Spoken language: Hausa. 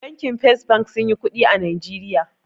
Bankin fes bank sunyi kuɗi a najeriya